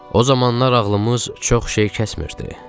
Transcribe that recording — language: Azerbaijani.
O zamanlar ağlımız çox şey kəsmirdi.